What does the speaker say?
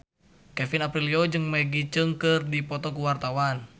Kevin Aprilio jeung Maggie Cheung keur dipoto ku wartawan